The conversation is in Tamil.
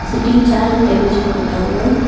சிட்டிங் சேர் அண்ட் டேபிள்ஸ் போட்ருக்காங்க.